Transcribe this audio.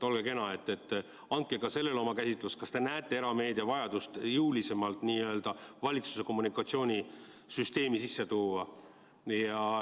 Olge kena, andke selle kohta oma käsitlus, kas te näete vajadust erameedia jõulisemalt valitsuse kommunikatsioonisüsteemi sisse tuua.